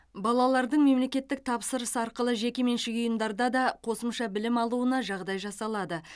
балалардың мемлекеттік тапсырыс арқылы жекеменшік ұйымдарда да қосымша білім алуына жағдай жасалады